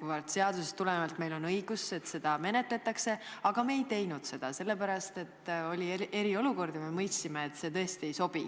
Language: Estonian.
kuivõrd seadusest tulenevalt oli meil õigus, et seda menetletaks, aga me ei teinud seda, sest oli eriolukord ja me mõistsime, et see tõesti ei sobi.